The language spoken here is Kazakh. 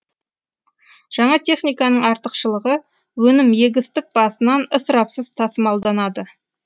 жаңа техниканың артықшылығы өнім егістік басынан ысырапсыз тасымалданады